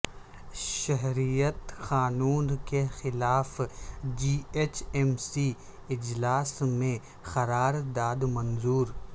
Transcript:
شہریت قانون کے خلاف جی ایچ ایم سی اجلاس میں قرار داد منظور